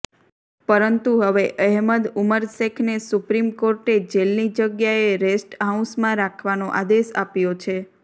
પરંતુ હવે અહેમદ ઉમર શેખને સુપ્રીમ કોર્ટે જેલની જગ્યાએ રેસ્ટ હાઉસમાં રાખવાનો આદેશ આપ્યો છે